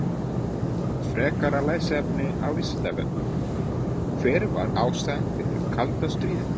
Frekara lesefni á Vísindavefnum: Hver var ástæðan fyrir kalda stríðinu?